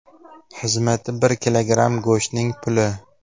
Xizmati bir kilogramm go‘shtning puli.